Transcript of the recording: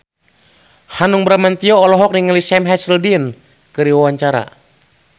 Hanung Bramantyo olohok ningali Sam Hazeldine keur diwawancara